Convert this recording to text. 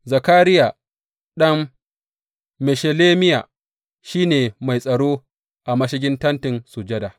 Zakariya ɗan Meshelemiya shi ne mai tsaro a mashigin Tentin Sujada.